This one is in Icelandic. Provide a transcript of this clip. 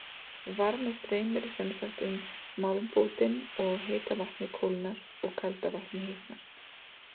Varmi streymir sem sagt um málmbútinn og heita vatnið kólnar og kalda vatnið hitnar.